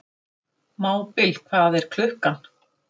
Hún lék níu landsleiki á árinu og skoraði í þeim sjö mörk.